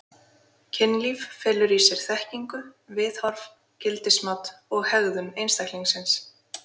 Kynlíf felur í sér þekkingu, viðhorf, gildismat og hegðun einstaklingsins.